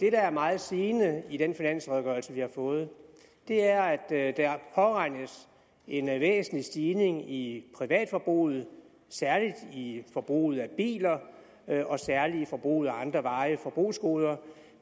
er meget sigende i den finansredegørelse vi har fået er at der påregnes en væsentlig stigning i privatforbruget særlig i forbruget af biler og særlig i forbruget af andre varige forbrugsgoder